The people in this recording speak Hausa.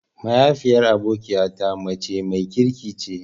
Mahaifiyar abokiya ta mace mai kirki ce.